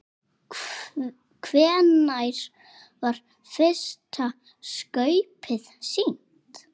Hvenær var fyrsta skaupið sýnt?